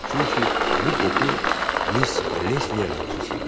Çünki bu qoxu mis Lesliyə məxsus idi.